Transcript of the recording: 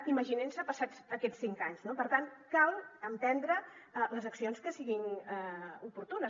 imaginin se passats aquests cinc anys no per tant cal emprendre les accions que siguin oportunes